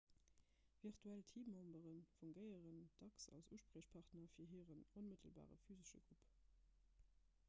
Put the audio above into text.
virtuell teammembere fungéieren dacks als uspriechpartner fir hiren onmëttelbare physesche grupp